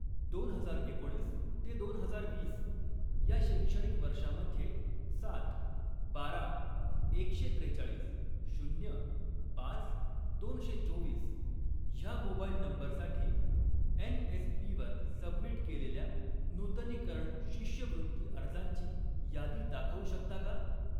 दोन हजार एकोणीस ते दोन हजार वीस या शैक्षणिक वर्षामध्ये सात, बारा, एकशे त्रेचाळीस, शून्य, पाच, दोनशे चोवीस ह्या मोबाइल नंबरसाठी एन.एस.पी वर सबमिट केलेल्या नूतनीकरण शिष्यवृत्ती अर्जांची यादी दाखवू शकता का?